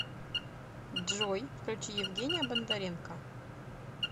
джой включи евгения бондаренко